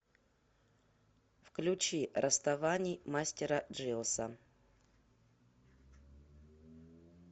включи расставаний мастера джиоса